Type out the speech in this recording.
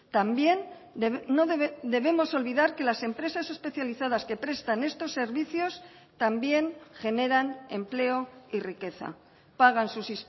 también no debemos olvidar que las empresas especializadas que prestan estos servicios también generan empleo y riqueza pagan sus